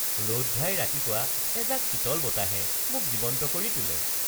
ৰ’দঘাই ৰাতিপুৱা এজাক শীতল বতাহে মোক জীৱন্ত কৰি তোলে